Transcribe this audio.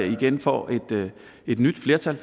igen får et nyt flertal